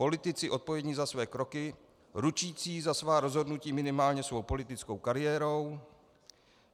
Politici odpovědní za své kroky, ručící za svá rozhodnutí minimálně svou politickou kariérou.